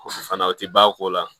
Fana o tɛ ba ko la